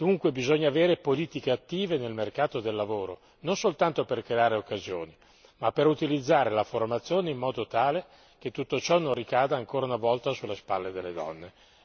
Dunque bisogna avere politiche attive nel mercato del lavoro, non soltanto per creare occasioni, ma per utilizzare la formazione in modo tale che tutto ciò non ricada ancora una volta sulle spalle delle donne.